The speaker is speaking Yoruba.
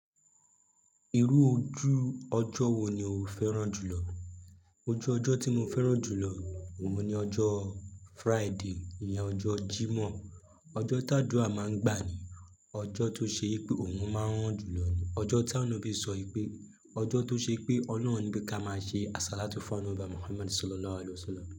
Irú ojú ọjọ́ wo ni o fẹ́ràn jùlọ? Ojú ọjọ́ tí mo fẹ́ràn jùlọ òun ni ọjọ́ Friday, ìní ọjọ́ Jímọ̀. Ọjọ́ tádúà máa ń gbà ni. Ọjọ́ tó ṣe wípé oòrùn máa ń ràn jù lọ ni ọjọ́ tí anabí sọ wípé, ọjọ́ tó ṣe pé Ọlọ́run ní pé ká máa ṣe àsálátú fún ànọ́bì wa Muhammad ṣólolá wàle waṣolá.